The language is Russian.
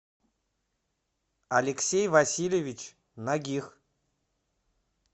алексей васильевич нагих